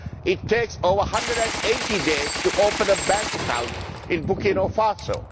It takes over 180days to open a bank account in Burkina Faso.